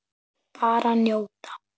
Bara njóta.